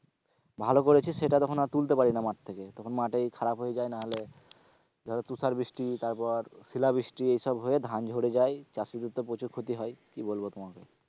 ভালো করেছি সেটা তখন আর তুলতে পারি না মাঠ থেকে, তখন মাঠেই খারাপ হয়ে যায় নাহলে ধরো তুষার বৃষ্টি তারপর শিলাবৃষ্টি এইসব হয়ে ধান ঝরে যায় চাষীদের তো প্রচুর ক্ষতি হয় কি বলবো তোমাকে,